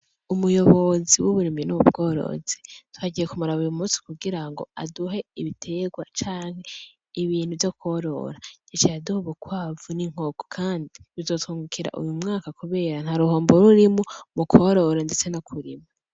umuyobozi w'uburimyi n'ububworozi twagiye kumaraba uyu munsi kugira ngo aduhe ibitegwa cane ibintu vyo korora gecayaduhe bukwavu n'inkoku kandi bizotungukira uyu mwaka kubera nta ruhomboro urimu mu korora ndetse no kurima